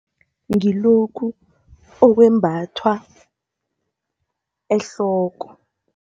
Ngilokhu okwembathwa ehloko.